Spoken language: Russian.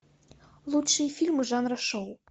лучшие фильмы жанра шоу